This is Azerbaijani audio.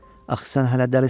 Axı sən hələ dəlisən.